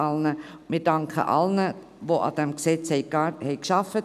Wir danken allen, die an diesem Gesetz gearbeitet haben.